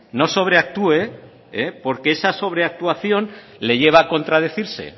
no sobreactúe porque esa sobre actuación le lleva a contradecirse